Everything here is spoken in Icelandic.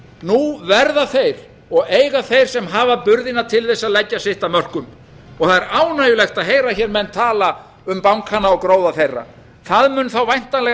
nú verða þeir og eiga þeir sem hafa burði til þess að leggja sitt af mörkum og það er ánægjulegt að heyra hér menn tala um bankana og gróða þeirra það mun væntanlega